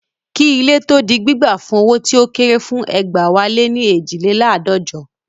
Kí ilé tó di gbígbà fún owó tí ó kéré fún egbẹ̀wáléní eejileládọ́jọ